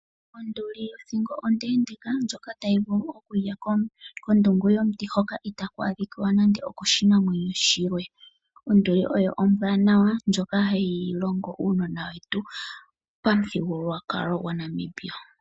Onduli oyina othingo ondendeka ndyoka tayi vulu okulya kondungu yomuti hoka itaku adhika we nande oko shinamwenyo shilwe. Onduli yoyo ombwanawa ndyoka hayi longo unona wetu pamuthigululwakalo gwaNamibia.